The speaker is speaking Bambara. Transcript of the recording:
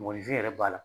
Mɔgɔninfin yɛrɛ b'a la